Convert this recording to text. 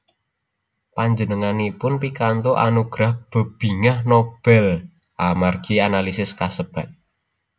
Panjenenganipun pikantuk anugerah Bebingah Nobel amargi analisis kasebat